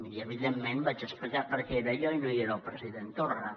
i evidentment vaig explicar per què hi era jo i no hi era el president torra